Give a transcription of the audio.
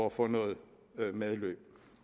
at få noget medløb